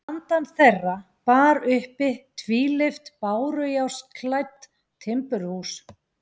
Handan þeirra bar uppi tvílyft bárujárnsklædd timburhús.